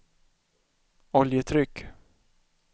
oljetryck